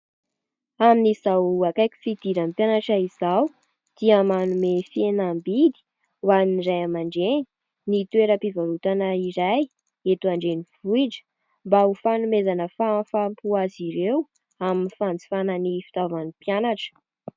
amin'nizao akaiko fidirany mpianatra izaho dia manome fienambidy ho an'iray amandeny ny toeram-pivarotana iray eto andeny vohitra mba ho fanomezana fahamfampo azy ireo amin'ny fanjofana ny fitaovan'ny mpianatra